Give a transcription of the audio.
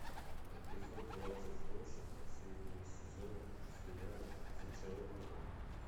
эпизод двадцать восемь последнего сезона сериала зачарованные